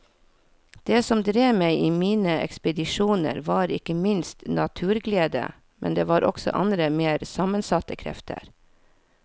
Det som drev meg i mine ekspedisjoner var ikke minst naturglede, men det var også andre mer sammensatte krefter.